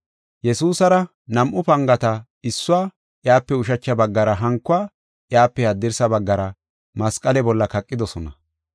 Yesuusara nam7u pangata issuwa iyape ushacha baggara hankuwa iyape haddirsa baggara masqale bolla kaqidosona.